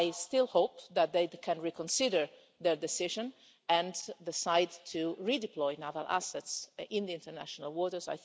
I still hope that they can reconsider their decision and decide to redeploy naval assets in the international waters.